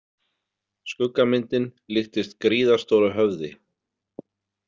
Skuggamyndin líktist gríðarstóru höfði.